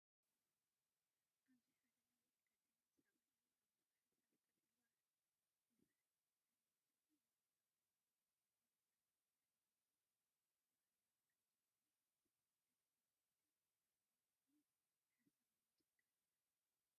ኣብዚ፡ ሓደ ነዊሕን ቀጢንን ሰብኣይ፡ ኣብ ዓሚቝ ሓሳብ፡ ኮፍ ኢሉ ይርአ። ጸሊም ስፉን ንጽጽር ዘለዎ ብሩህ ካራባታን ገይሩ፣ ክቡር ህላወ ከምዘለዎ ይሕብር። እቲ ስምዒት ግን ናይ ዓሚቝን ሓሳባውን ጭንቀት እዩ።